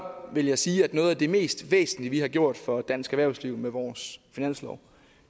vil jeg sige at noget af det mest væsentlige vi har gjort for dansk erhvervsliv med vores finanslov